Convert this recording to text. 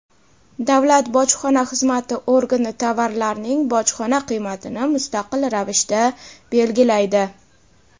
davlat bojxona xizmati organi tovarlarning bojxona qiymatini mustaqil ravishda belgilaydi.